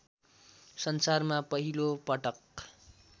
संसारमा पहिलो पटक